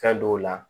Fɛn dɔw la